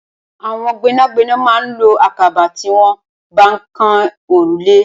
Awọn gbẹnágbẹná mà n ló àkàbà tiwọn bá n kán órúlé